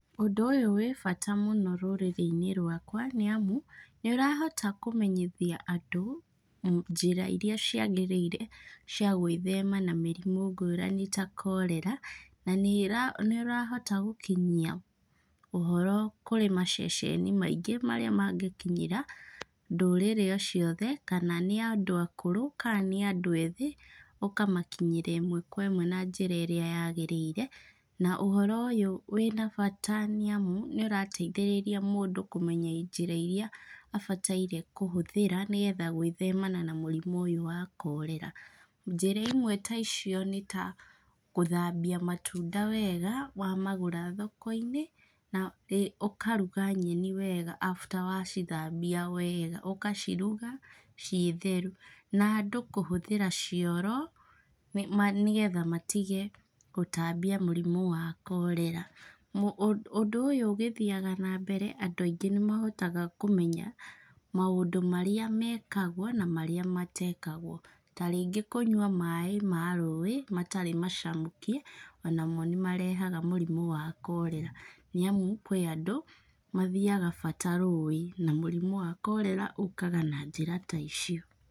Ũndũ ũyũ wĩ bata mũno rũrĩrĩ-inĩ rwakwa, nĩamu, nĩ ũrahota kũmenyithia andũ, njĩra irĩa ciagĩrĩire cia gwĩthema na mĩrimũ ngũrani ta korera, na nĩ nĩ ũrahota gũkinyia ũhoro kũrĩ maceceni maingĩ marĩa mangĩkinyĩra ndũrĩrĩ o ciothe, kana nĩ andũ akũrũ, ka nĩ andũ ethĩ, ũkamakinyĩria ĩmwe kwa ĩmwe na njĩra ĩrĩa yagĩrĩire. Na ũhoro ũyũ wĩna bata nĩamu, nĩũrateithĩrĩria mũndũ kũmenya njĩra irĩa abataire kũhũthĩra nĩgetha gwĩthemana na mũrimũ ũyũ wa korera. Njĩra imwe ta icio nĩ ta, gũthambia matunda wega, wamagũra thoko-inĩ, na ũkaruga nyeni wega after wacithambia wega, ũkaciruga ciĩ theru. Na andũ kũhũthĩra cioro nĩgetha matige gũtambia mũrimũ wa korera. Ũndũ ũyũ ũgĩthiaga na mbere andũ aingĩ nĩ mahotaga kũmenya maũndũ marĩa mekagwo na marĩa matekagwo. Tarĩngĩ kũnyua maĩ ma rũĩ, matarĩ macamũkie, onamo nĩ marehaga mũrimũ wa korera nĩamu kwĩ andũ mathiaga bata rũĩ na mũrimũ wa korera ũkaga na njĩra ta icio.